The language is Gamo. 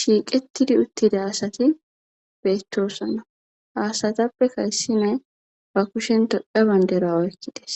shiiqettidi uttida asati beettosonna haasatappe karsime ba kushen toddha banderoa oykkides.